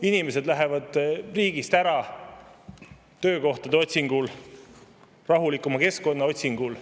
Inimesed lähevad riigist ära töökohtade otsingul, rahulikuma keskkonna otsingul.